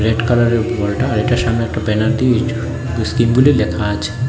Red কালারের বলটা আর এটা সামনে একটা ব্যানার দিয়ে ইয়ুযু ইস্কিপ্টগুলি লেখা আছে।